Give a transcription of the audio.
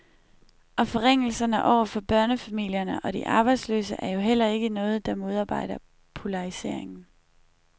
Og forringelserne over for børnefamilierne og de arbejdsløse er jo heller ikke noget, der modarbejder polariseringen.